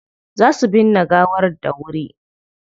Za su binne gawar dawuri.